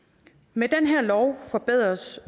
med den her lov forbedres